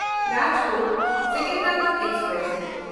ᱨᱟᱡᱽᱠᱳᱴ–ᱥᱮᱠᱮᱱᱫᱨᱟᱵᱟᱫ express